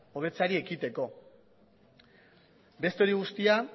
hobetzeari ekiteko beste hori guztia